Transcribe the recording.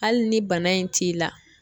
Ali ni bana in t'i la